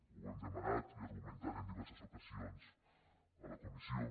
ho hem demanat i argumentat en diverses ocasions a la comissió